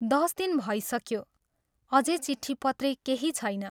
दस दिन भइसक्यो अझै चिट्ठी पत्री केही छैन।